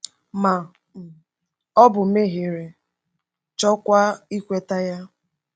Ma um ọ bụ mehiere, chọọkwa ikweta ya.